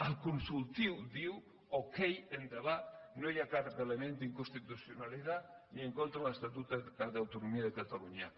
el consultiu diu okey endavant no hi ha cap element d’inconstitucionalitat ni en contra de l’estatut d’autonomia de catalunya